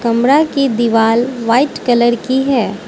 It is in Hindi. कमरा की दीवाल व्हाइट कलर की है।